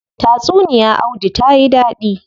Tatsuniya audu tayi dadi.